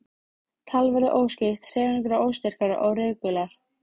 Tal verður óskýrt, hreyfingar óstyrkar og reikular.